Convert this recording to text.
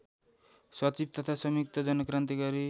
सचिव तथा संयुक्त जनक्रान्तिकारी